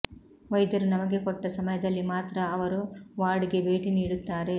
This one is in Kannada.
ವೈದ್ಯರು ನಮಗೆ ಕೊಟ್ಟ ಸಮಯದಲ್ಲಿ ಮಾತ್ರ ಅವರು ವಾರ್ಡ್ ಗೆ ಭೇಟಿ ನೀಡುತ್ತಾರೆ